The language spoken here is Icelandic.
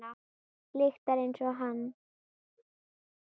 Lyktar einsog hann.